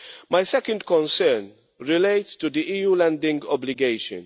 My second concern relates to the EU landing obligation.